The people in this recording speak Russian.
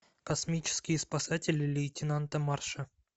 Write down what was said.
космические спасатели лейтенанта марша